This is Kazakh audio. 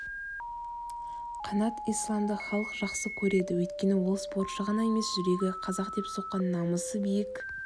қанат исламды халық жақсы көреді өйткені ол спортшы ғана емес жүрегі қазақ деп соққан намысы биік